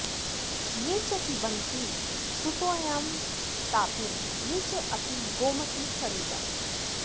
ये च पिबन्ति सुतोयां तापीं ये च अपि गोमतीसलिलम्